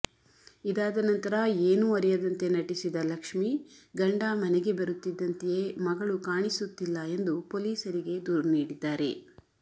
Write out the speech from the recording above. ಇದಾದ ನಂತರ ಏನೂ ಅರಿಯದಂತೆ ನಟಿಸಿದ ಲಕ್ಷ್ಮಿ ಗಂಡ ಮನೆಗೆ ಬರುತ್ತಿದ್ದಂತೆಯೇ ಮಗಳು ಕಾಣಿಸುತ್ತಿಲ್ಲ ಎಂದು ಪೊಲೀಸರಿಗೆ ದೂರು ನೀಡಿದ್ದಾರೆ